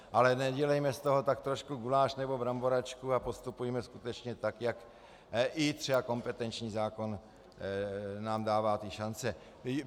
Ale nedělejme z toho tak trošku guláš nebo bramboračku a postupujme skutečně tak, jak i třeba kompetenční zákon nám dává ty šance.